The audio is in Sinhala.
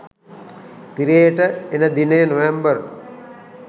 තිරයට එන දිනය නොවැම්බර්